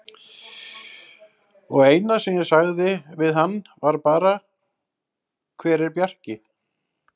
Og eina sem ég sagði við hann var bara: Hver er Bjarki?